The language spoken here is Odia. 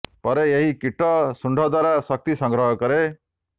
ପରେ ଏହି କୀଟ ଶୁଣ୍ଢ ଦ୍ୱାରା ଶକ୍ତି ସଂଗ୍ରହ କରେ